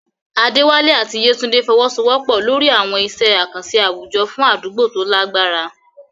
Adewale àti Yetunde fọwọ́sowọ́pọ̀ lórí àwọn iṣẹ́ àkànṣe àwùjọ fún àdúgbò tó lágbára.